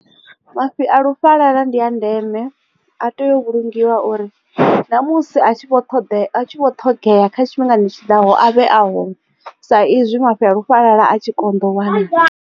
Mafhi a lufhalala ndi a ndeme a tea u vhulungiwa uri na musi a tshi vho ṱhoḓea a tshi vho ṱhogea kha tshifhingani tshiḓaho a vhe ahone sa izwi mafhi a lufhalala a tshi koṋda u wanala.